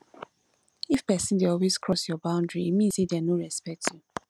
if pesin dey always cross your boundary e mean say dem no respect you